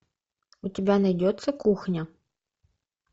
у тебя найдется кухня